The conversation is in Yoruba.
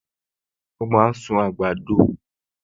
O máa ń sún àgbàdo